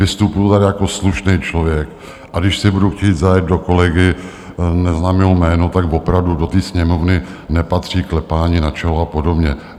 Vystupuji tady jako slušný člověk, a když si budu chtít zajet do kolegy, neznám jeho jméno, tak opravdu do té Sněmovny nepatří klepání na čelo a podobně.